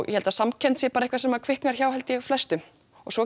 ég held að samkennd sé sem kviknar hjá flestum svo er